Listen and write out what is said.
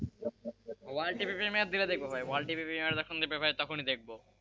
world TV premiere দিলে দেখব ভাইওয়ার্ল্ড টিভি প্রিমিয়ার যখন দেবে ভাই তখনই দেখব,